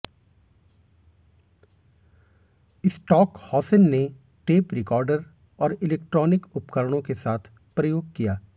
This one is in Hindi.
स्टॉकहौसेन ने टेप रिकॉर्डर और इलेक्ट्रॉनिक उपकरणों के साथ प्रयोग किया